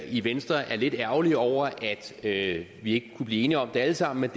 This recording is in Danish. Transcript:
i venstre er lidt ærgerlige over at vi ikke kunne blive enige om det alle sammen men